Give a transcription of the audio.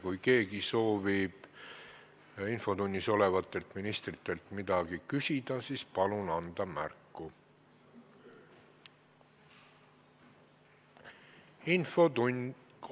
Kui keegi soovib infotunnis olevatelt ministritelt midagi küsida, siis palun anda märku!